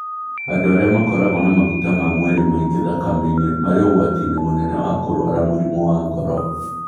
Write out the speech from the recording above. Andũ arĩa makoragwo na maguta ma mwĩrĩ maingĩ thakame-inĩ marĩ ũgwati-inĩ mũnene wa kũrũara mũrimũ wa ngoro.